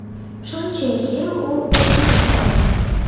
Shunchaki u o‘smay qolgan.